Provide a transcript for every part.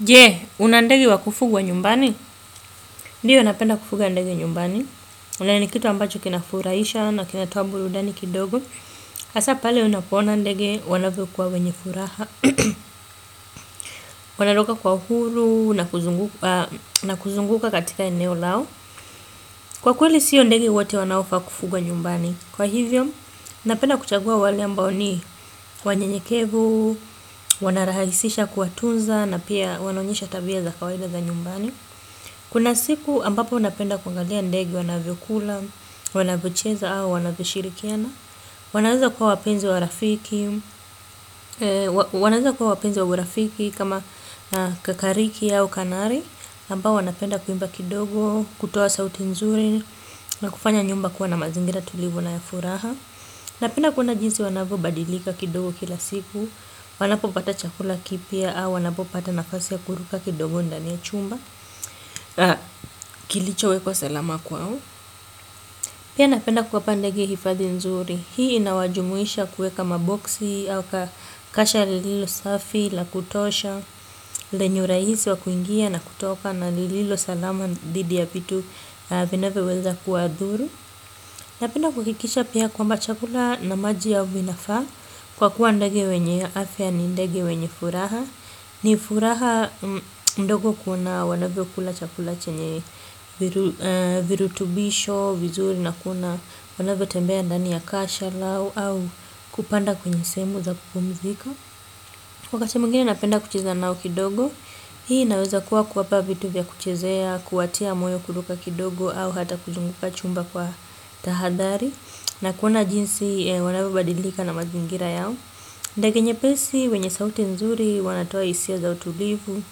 Je, una ndege wakufugwa nyumbani? Ndiyo, napenda kufuga ndege nyumbani. Na ni kitu ambacho kinafuraisha na kinatoa burudani kidogo. Hasa pale unapoona ndege wanavyokua wenye furaha. Wanaruka kwa uhuru na na kuzunguka katika eneo lao. Kwa kweli, sio ndege wote wanaofaa kufugwa nyumbani. Kwa hivyo, napenda kuchagua wale ambao ni wanyenyekevu, wanarahisisha kuwatunza na pia wanaonyesha tabia za kawaida za nyumbani. Kuna siku ambapo napenda kungalia ndege wanavyokula, wanavyocheza au wanavyoshirikiana. Wanaweza kuwa wapenzi wa urafiki wanaweza kuwa wapenzi wa urafiki kama kakariki au kanari ambao wanapenda kuimba kidogo, kutoa sauti nzuri na kufanya nyumba kuwa na mazingira tulivu na ya furaha. Napenda kuona jinsi wanavyobadilika kidogo kila siku. Wanapopata chakula kipya au, wanapopata nafasi ya kuruka kidogo ndani ya chumba kilichowekwa salama kwao pia napenda kuwapa ndege hifadhi nzuri hii inawajumuisha kueka maboksi au kasha lililo safi la kutosha lenye urahisi wakuingia na kutoka na lililo salama dhidi ya vitu vinavyoweza kuwadhuru napenda kuhakikisha pia kwamba chakula na maji yao vinafaa kwa kuwa ndege wenye afya ni ndege wenye furaha ni furaha mdogo kuona wanavyokula chakula chenye virutubisho, vizuri na kuna wanavyotembea ndani ya kasha lao au kupanda kwenye sehemu za kupumzika wakati mwingine napenda kucheza nao kidogo hii inaweza kuwa kuwapa vitu vya kuchezea kuwatia moyo kuruka kidogo au hata kuzunguka chumba kwa tahadhari na kuona jinsi wanavyobadilika na mazingira yao ndege nyepesi wenye sauti nzuri wanatoa hisia za utulivu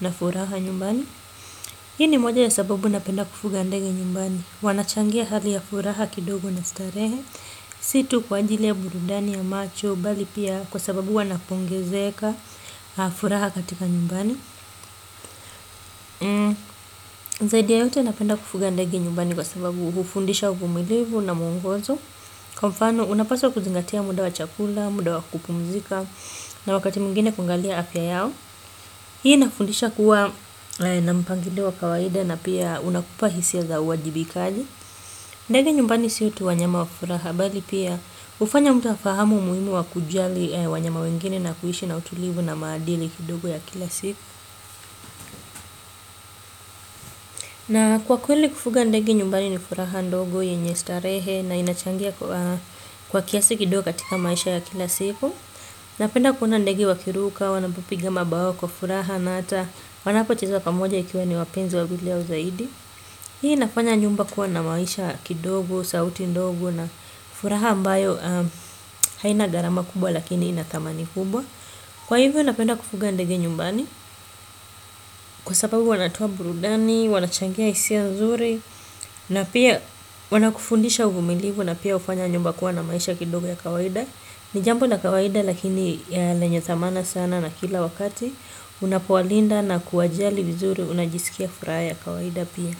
na furaha nyumbani. Hii ni moja ya sababu napenda kufuga ndege nyumbani. Wanachangia hali ya furaha kidogo na starehe. Si tu kwa ajili ya burudani ya macho bali pia kwa sababu wanapongezeka furaha katika nyumbani. Zaidi ya yote napenda kufuga ndege nyumbani kwa sababu hufundisha uvumilivu na mwongozo. Kwa mfano unapaswa kuzingatia muda wa chakula, muda wa kupumzika. Na wakati mwingine kuangalia afya yao. Hii inakufundisha kuwa na mpangilio wa kawaida na pia unakupa hisia za uwajibikaji. Ndege nyumbani sio tu wanyama wa furaha bali pia hufanya mtu afahamu umuhimu wa kujali wanyama wengine na kuishi na utulivu na maadili kidogo ya kila siku. Na kwa kweli kufuga ndege nyumbani ni furaha ndogo yenye starehe na inachangia kwa kiasi kidogo katika maisha ya kila siku. Napenda kuona ndege wakiruka, wanapopiga mabawa kwa furaha na hata wanapocheza pamoja ikiwa ni wapenzi wawili au zaidi. Hii inafanya nyumba kuwa na maisha kidogo, sauti ndogo na furaha ambayo haina gharama kubwa lakini ina thamani kubwa. Kwa hivyo napenda kufuga ndege nyumbani kwa sababu wanatoa burudani, wanachangia hisia nzuri na pia wanakufundisha uvumilivu na pia hufanya nyumba kuwa na maisha kidogo ya kawaida. Ni jambo la kawaida lakini lenye thamani sana na kila wakati unapowalinda na kuwajali vizuri unajisikia furaha kawaida pia.